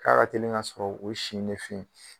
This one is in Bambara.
K'a ka teli ŋa sɔrɔ o si in de fe ye